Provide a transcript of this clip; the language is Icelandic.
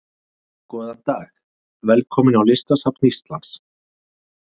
Góðan dag. Velkomin á Listasafn Íslands.